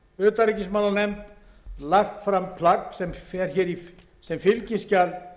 utanríkismálanefnd var lagt fram plagg sem fylgiskjal